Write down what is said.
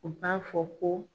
U t'a fɔ ko